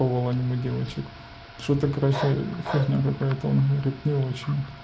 лол аниме девочек что такое короче фигня какая-то он говорит не очень